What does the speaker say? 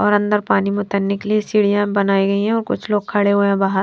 और अंदर पानी में उतरने के लिए सीढ़ीयां बनाई गई हैं और कुछ लोग खड़े हुए है बहार --